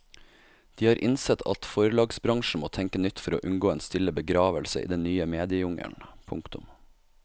De har innsett at forlagsbransjen må tenke nytt for å unngå en stille begravelse i den nye mediejungelen. punktum